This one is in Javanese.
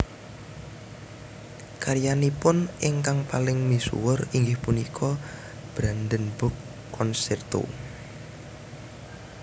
Karyanipun ingkang paling misuwur inggih punika Brandenburg concerto